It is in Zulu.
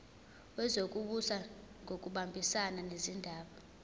wezokubusa ngokubambisana nezindaba